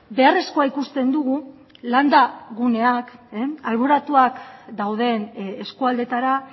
beharrezkoa ikusten dugu landa guneak alboratuak dauden eskualdeetara